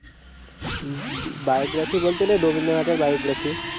biography বলতে গেলে রবীন্দ্রনাথ এর biography